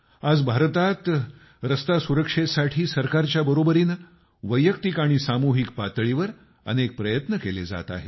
आज भारतात रस्ते सुरक्षेसाठी सरकारच्या बरोबरीनं वैयक्तिक आणि सामूहिक पातळीवर अनेक प्रयत्न केले जात आहेत